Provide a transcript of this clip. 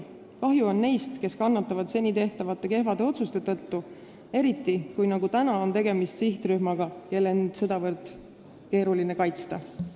Kahju on neist, kes kannatavad seni tehtud kehvade otsuste tõttu, eriti, kui nagu praegu on tegemist sihtrühmaga, kel on end sedavõrd keeruline kaitsta.